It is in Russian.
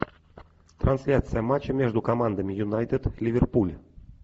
трансляция матча между командами юнайтед ливерпуль